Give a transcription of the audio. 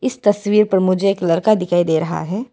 इस तस्वीर पर मुझे एक लड़का दिखाई दे रहा है।